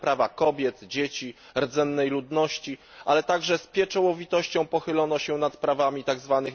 na prawa kobiet, dzieci, rdzennej ludności, ale także z pieczołowitością pochylono się nad prawami tzw.